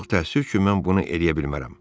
Çox təəssüf ki, mən bunu eləyə bilmərəm.